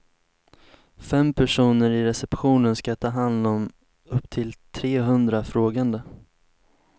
Fem personer i receptionen ska ta hand om upp till tre hundra frågande.